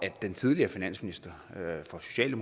at den tidligere finansminister